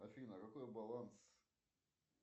афина какой баланс